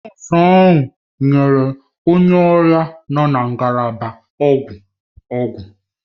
Nọọsụ ahụ nyere onye ọrịa nọ na ngalaba ọgwụ ọgwụ.